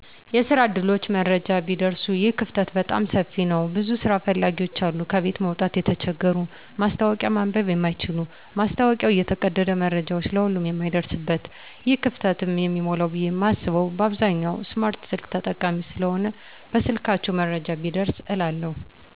የስራ ዕድሎች መረጃ ቢደርሱ ይህ ክፍተት በጣም ሰፊ ነዉ ብዙ ስራ ፈላጊዎች አሉ ከቤት መዉጣት የተቸገሩ ማስታወቂያ ማንበብ የማይችሉ ማስታወቂያዉ እየተቀደደ መረጃዉ ለሁሉም የማይደርስበት ይህ ክፍተትም የሚሞላዉ ብየ የማስበዉ በአብዛኛዉ ስማርት ስልክ ተጠቃሚ ስለሆነ በስልካቸዉ መረጃዉ ቢደርስ እላለሁ